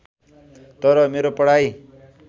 तर मेरो पढाइ